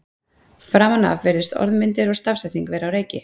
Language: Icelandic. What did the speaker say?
framan af virðast orðmyndir og stafsetning vera á reiki